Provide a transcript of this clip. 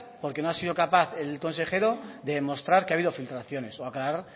porque no ha sido capaz el consejero de demostrar que ha habido filtraciones o aclarar